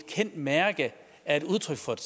kendt mærke er et udtryk for et